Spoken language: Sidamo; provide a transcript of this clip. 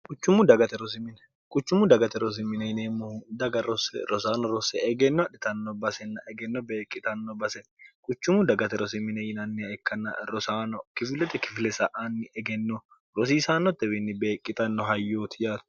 kuchummu dagate rosimine yineemmohu daga rosse rosaano rosse egenno adhitanno basinna egenno beeqqitanno basen kuchummu dagate rosimine yinannia ikkanna rosaano kifilete kifile sa anni egenno rosiisaannottewiinni beeqqitanno hayyooti yaato